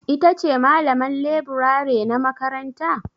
Ita ce malaman leburare na makaranta?